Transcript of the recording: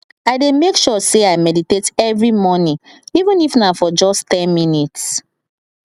i dey make sure say i meditate every morning even if na for just ten minutes